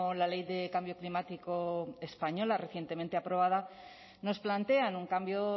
la ley de cambio climático española recientemente aprobada nos plantean un cambio